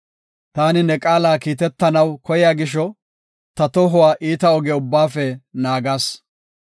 Taani ne qaala kiitetanaw koyiya gisho, ta tohuwa iita oge ubbaafe naagas.